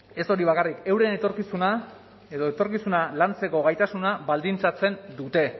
ez hori bakarrik euren etorkizuna edo etorkizuna lantzeko gaitasuna baldintzatzen dute